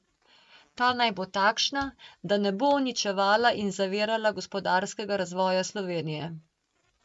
Ta naj bo takšna, da ne bo uničevala in zavirala gospodarskega razvoja Slovenije.